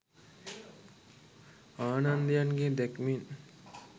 ආනන්දයන්ගේ දැක්මෙන්